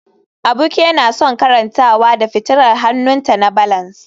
Abike na son karantawa da fitilar hannunta na balance